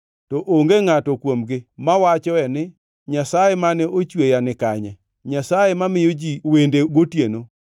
To onge ngʼato kuomgi mawachoe ni, ‘Nyasaye mane ochweya nikanye, Nyasaye mamiyo ji wende gotieno,